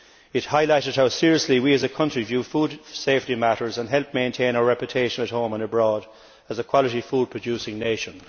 It highlighted how seriously we as a country view food safety matters, and helped maintain our reputation at home and abroad as a quality food producing nation.